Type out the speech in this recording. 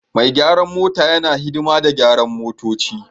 Mai gyaran mota yana hidima da gyaran motoci